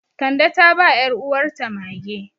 Kande ta ba 'yaruwarta mage.